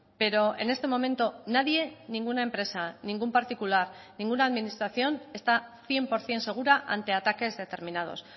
pero en este momento nadie ninguna empresa ningún particular ninguna administración está cien por ciento segura ante ataques determinados